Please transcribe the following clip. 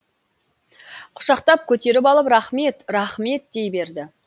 құшақтап көтеріп алып рахмет рахмет дей берді